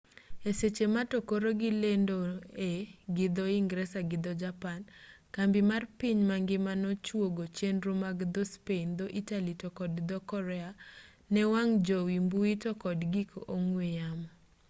e seche ma to koro gilendoe gi dho-ingresa gi dho-japan kambi mar piny mangima no chuogo chenro mag dho-spain dho-italy to kod dho-korea ne wang' jowi mbui to kod gik ong'we yamo